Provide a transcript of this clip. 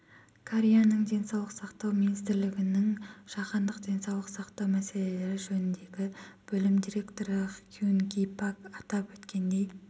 кореяның денсаулық сақтау министрлігінің жаһандық денсаулық сақтау мәселелері жөніндегі бөлім директоры хьюн ги пак атап өткендей